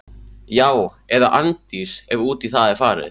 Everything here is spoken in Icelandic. Já- eða Arndís, ef út í það er farið.